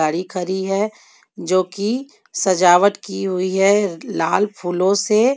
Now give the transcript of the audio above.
गाडी खड़ी हे जोकि सजावट की हुई हे लाल फूलो से.